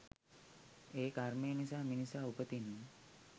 ඒ කර්මය නිසා මිනිසා උපතින්ම